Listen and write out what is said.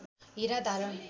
हीरा धारण